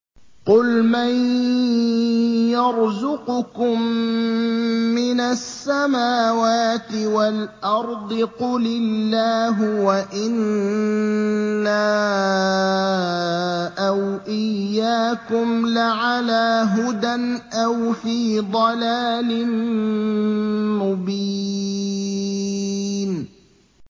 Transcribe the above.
۞ قُلْ مَن يَرْزُقُكُم مِّنَ السَّمَاوَاتِ وَالْأَرْضِ ۖ قُلِ اللَّهُ ۖ وَإِنَّا أَوْ إِيَّاكُمْ لَعَلَىٰ هُدًى أَوْ فِي ضَلَالٍ مُّبِينٍ